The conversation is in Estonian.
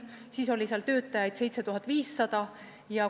Siis oli seal 7500 töötajat.